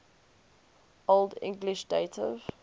old english dative